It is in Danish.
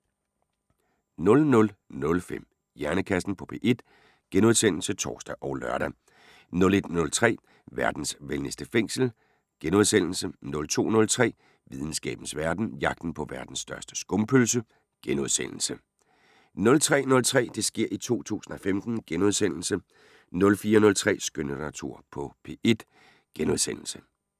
00:05: Hjernekassen på P1 *(tor og lør) 01:03: Verdens venligste fængsel * 02:03: Videnskabens Verden: Jagten på verdens største skumpølse * 03:03: Det sker i 2015 * 04:03: Skønlitteratur på P1 *